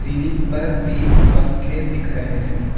Ceiling पर तीन पंखे दिख रहे हैं।